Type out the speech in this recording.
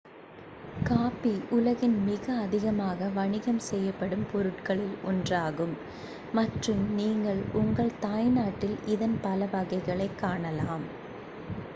coffee உலகின் மிக அதிகமாக வணிகம் செய்யப்படும் பொருட்களில் ஒன்றாகும் மற்றும் நீங்கள் உங்கள் தாய்நாட்டில் இதன் பல வகைகளைக் காணலாம்